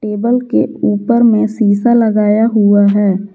Table के ऊपर में शीशा लगाया हुआ है।